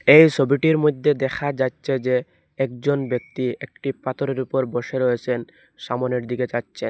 এই সবিটির মইধ্যে দেখা যাচ্ছে যে একজন ব্যক্তি একটি পাথরের উপর বসে রয়েসেন সামোনের দিকে চাচ্ছেন।